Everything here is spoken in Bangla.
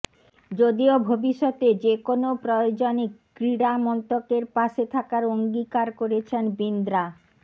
যদিও ভবিষ্যতে যে কোনও প্রয়োজনে ক্রীড়ামন্ত্রেকর পাশে থাকার অঙ্গীকার করেছেন বিন্দ্রা